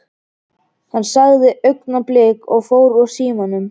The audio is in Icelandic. Hann sagði augnablik og fór úr símanum.